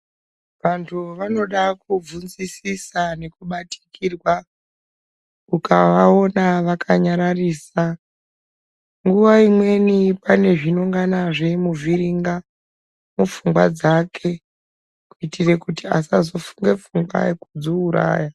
Antu vanoda kubvunzisisa nekubatikirwa ukavaona vakanyararisa. Nguwa imweni pane zvinongana zveimuvhiringa mupfungwa dzake kuitire kuti asazofunga pfungwa yekudziuraya.